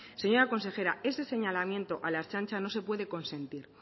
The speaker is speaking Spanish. señora consejera ese señalamiento a la ertzaintza no se puede consentir